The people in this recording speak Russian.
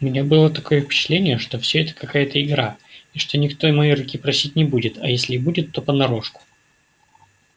у меня было такое впечатление что всё это какая-то игра и что никто моей руки просить не будет а если и будет то понарошку